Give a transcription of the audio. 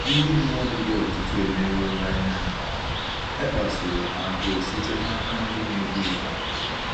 Ndị mmadụ dị ọtụtụ e merụọla ime mmụọ — e kpasuru ha agụụ site n’aka ndị na-edu ụgha.